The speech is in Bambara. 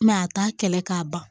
a t'a kɛlɛ k'a ban